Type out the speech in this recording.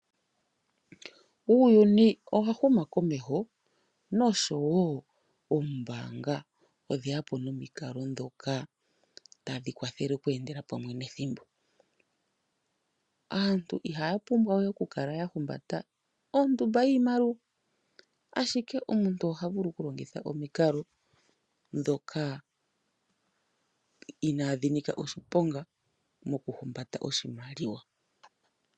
Uuyuni owa huma komeho noshowo oombanga odheya po nomikalo dhoka tadhi kwathele oku endela pamwe nethimbo. Aantu iha ya pumbwa we oku kala ya humbata ondumba yiimaliwa ashike omuntu oha vulu oku longitha omikalo dhoka inadhi ni ka oshiponga moku humbata oshimaliwa.